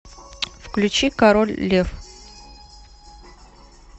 включи король лев